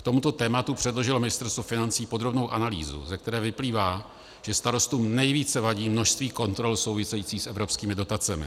K tomuto tématu předložilo Ministerstvo financí podrobnou analýzu, ze které vyplývá, že starostům nejvíce vadí množství kontrol souvisejících s evropskými dotacemi.